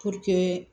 Puruke